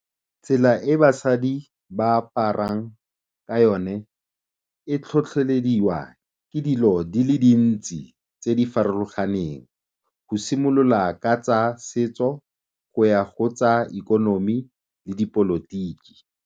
Tsela e basadi ba aparang ka yone e tlhotlhelediwa ke dilo di le dintsi tse di farologaneng go simolola ka tsa setso, go ya go tsa ikonomi le dipolotiki.